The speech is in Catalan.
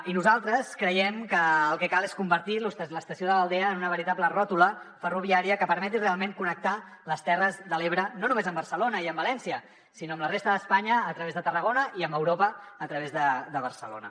i nosaltres creiem que el que cal és convertir l’estació de l’aldea en una veritable ròtula ferroviària que permeti realment connectar les terres de l’ebre no només amb barcelona i amb valència sinó amb la resta d’espanya a través de tarragona i amb europa a través de barcelona